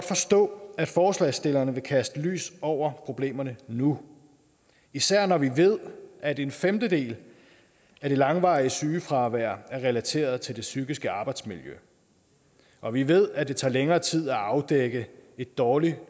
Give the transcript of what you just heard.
forstå at forslagsstillerne vil kaste lys over problemerne nu især når vi ved at en femtedel af det langvarige sygefravær er relateret til det psykiske arbejdsmiljø og vi ved at det tager længere tid at afdække et dårligt